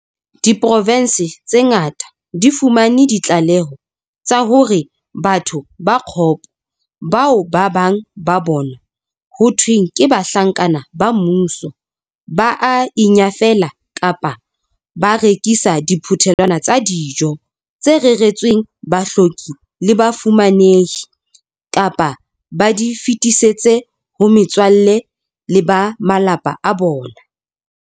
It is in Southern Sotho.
Diprovense tse ngata di fumane ditlaleho tsa hore batho ba kgopo, bao ba bang ba bona ho thweng ke bahlanka ba mmuso, ba a inyafela kapa ba rekisa diphuthelwana tsa dijo tse reretsweng bahloki le bafu-manehi, kapa ba di fetisetse ho metswalle le ba malapa a bona.